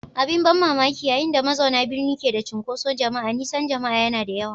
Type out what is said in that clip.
Abin ban mamaki, yayin da mazauna birni ke da cunkoson jama'a, nisan jama'a yana da yawa.